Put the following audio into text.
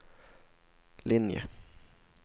linje